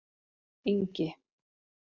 Ingi